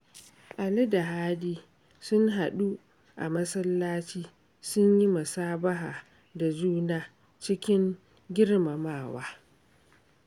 Ali da Hadi sun hadu a masallaci sun yi musabaha da juna, cikin girmamawa